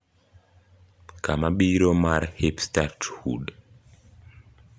kama biro mar hipsterhood